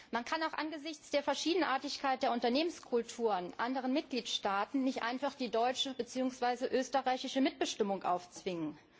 Man kann auch angesichts der Verschiedenartigkeit der Unternehmenskulturen anderen Mitgliedstaaten nicht einfach die deutsche beziehungsweise österreichische Mitbestimmung aufzwingen.